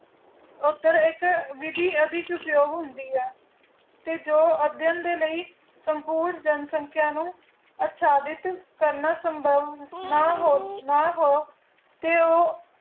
ਉਦੀ ਇਕ ਵਿਧੀ ਉਪਯੋਗ ਹੋਂਦੀ ਹੈ ਤੇ ਜੋ ਅਦਿਨਧ ਦੇ ਲਈ ਸੰਪੂਰ ਸੰਖ੍ਯਾ ਨੂੰ ਅਕਾਂਦਿਖਹ ਸੰਭਵ ਨਾ ਨਾ ਹੋ